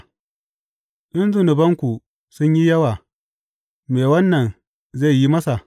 In zunubanku sun yi yawa, me wannan zai yi masa?